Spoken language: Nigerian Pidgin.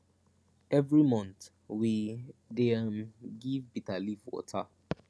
every month we dey um give bitter leaf water